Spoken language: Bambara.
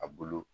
A bolo